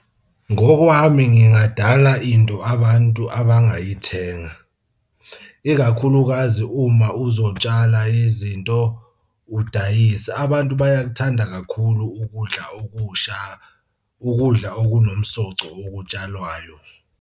Ngokwami ngingadala into abantu abangayithenga, ikakhulukazi uma uzotshala izinto, udayise. Abantu bayakuthanda kakhulu ukudla okusha, ukudla okunomsoco okutshalwayo.